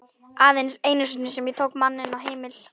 Aðeins einu sinni sem ég tók mann inn á heimil.